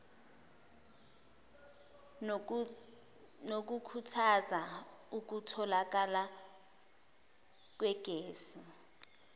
nokukhuthaza ukutholakala kwegesi